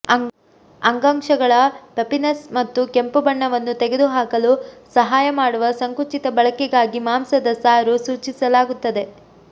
ಅಂಗಾಂಶಗಳ ಪಫಿನೆಸ್ ಮತ್ತು ಕೆಂಪು ಬಣ್ಣವನ್ನು ತೆಗೆದುಹಾಕಲು ಸಹಾಯ ಮಾಡುವ ಸಂಕುಚಿತ ಬಳಕೆಗಾಗಿ ಮಾಂಸದ ಸಾರು ಸೂಚಿಸಲಾಗುತ್ತದೆ